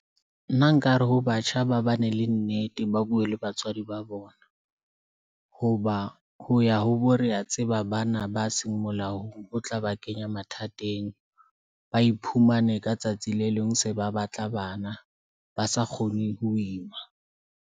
Nna nkare ha batjha ba bane le nnete, ba bue le batswadi ba bona. Hoba ho ya ho bo re a tseba, bana ba seng molaong ho tla ba kenya mathateng, ba iphumane ka tsatsi le leng se ba batla bana ba sa kgone ho ima.